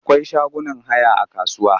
Akwai shagunan haya a kasuwa.